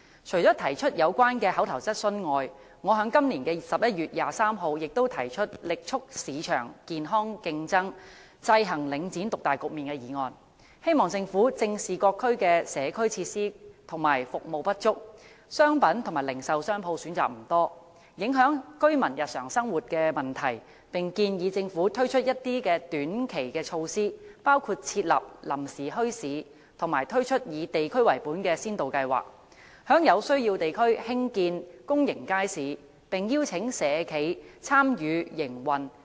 除了提出上述口頭質詢外，我亦曾在今年11月23日提出"力促市場健康競爭，制衡領展獨大局面"的議案，希望政府正視各區的社區設施和服務不足，商品及零售商鋪選擇不多，影響居民日常生活的問題，並建議政府推出一些短期措施，包括設立臨時墟市及推出以地區為本的先導計劃，在有需要地區興建公營街市，並邀請社企參與營運。